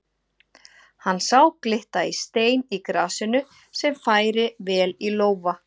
Hann sá glitta í stein í grasinu sem færi vel í lófa.